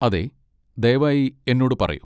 അതെ, ദയവായി എന്നോട് പറയൂ.